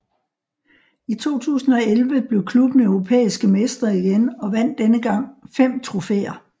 I 2011 blev klubben europæiske mestre igen og vandt denne gang fem trofæer